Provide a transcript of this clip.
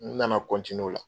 N na na o la.